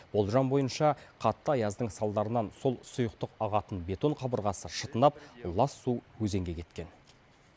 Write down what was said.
болжам бойынша қатты аяздың салдарынан сол сұйықтық ағатын бетон қабырғасы шытынап лас су өзенге кеткен